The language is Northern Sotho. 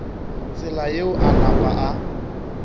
tsela yeo a napa a